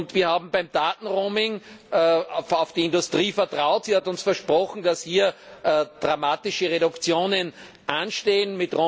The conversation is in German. Wir haben beim Daten Roaming auf die Industrie vertraut. Sie hat uns versprochen, dass hier dramatische Reduktionen anstehen.